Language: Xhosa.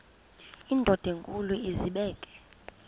indod enkulu izibeke